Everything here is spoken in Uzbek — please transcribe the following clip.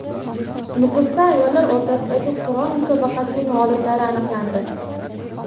Nukusda ayollar o‘rtasidagi Qur’on musobaqasining g‘oliblari aniqlandi .